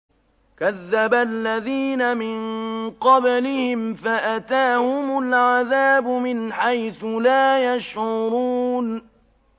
كَذَّبَ الَّذِينَ مِن قَبْلِهِمْ فَأَتَاهُمُ الْعَذَابُ مِنْ حَيْثُ لَا يَشْعُرُونَ